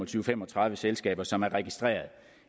til fem og tredive selskaber som er registreret